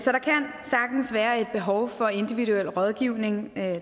sagtens være et behov for individuel rådgivning